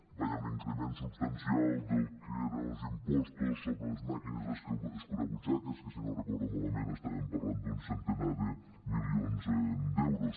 hi va haver un increment substancial del que eren els impostos sobre les màquines escurabut·xaques que si no ho recordo malament estàvem parlant d’un centenar de milions d’euros